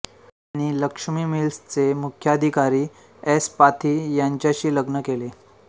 त्यांनी लक्ष्मी मिल्सचे मुख्याधिकारी एस पाथी यांच्याशी लग्न केले